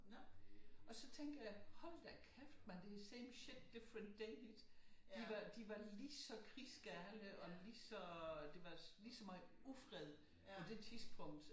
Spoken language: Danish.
Og så tænker jeg hold da kæft mand det er same shit different day de var lige så krigsgale og lige så øh det var lige så meget ufred på det tidspunkt